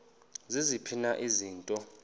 ziziphi na izinto